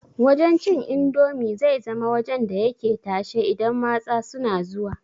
Wajan cin indomi zai zama wajan da yake tashe idan matsa suna zuwa